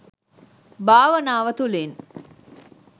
භාවනාව තුළින්